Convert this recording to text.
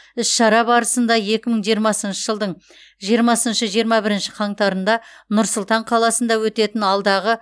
іс шара барысында екі мың жиырмасыншы жылдың жиырмасыншы жиырма бірінші қаңтарында нұр сұлтан қаласында өтетін алдағы